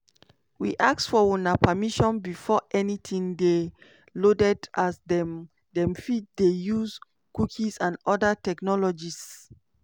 we ask for una permission before anytin dey loaded as dem dem fit dey use cookies and oda technologies.